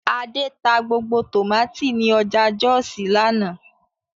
Adé ta gbogbo tòmátì ní ọjà Jọ́òsì lánàá